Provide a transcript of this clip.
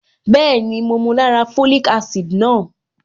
Bẹ́ẹ̀ni, mo mu lára folic acid náà.